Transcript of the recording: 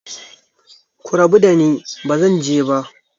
Ku rabu dani, ba zan je ba!